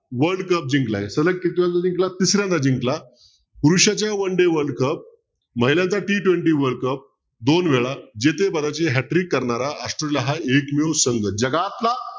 world cup जिंकला सलग कितव्यांदा जिंकला तिसऱ्यांदा जिंकला पुरुषाचे one day world cup महिलांचा t twenty world cup दोन वेळा जिथे बऱ्याच वेळा hi-trick करणारा हा एकमेव संघ जगातला